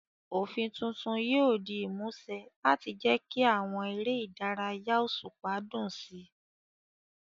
Òfin tuntun yóò di ìmúṣẹ láti jẹ́ kí àwọn eré ìdárayá òṣùpá dùn sí i.